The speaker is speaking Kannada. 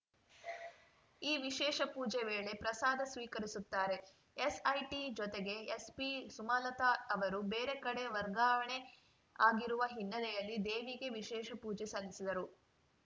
ಈ ವಿಶೇಷ ಪೂಜೆ ವೇಳೆ ಪ್ರಸಾದ ಸ್ವೀಕರಿಸುತ್ತಾರೆ ಎಸ್‌ಐಟಿ ಜೊತೆಗೆ ಎಸ್ಪಿ ಸುಮಲತಾ ಅವರು ಬೇರೆ ಕಡೆ ವರ್ಗಾವಣೆ ಆಗಿರುವ ಹಿನ್ನೆಲೆಯಲ್ಲಿ ದೇವಿಗೆ ವಿಶೇಷ ಪೂಜೆ ಸಲ್ಲಿಸಿದರು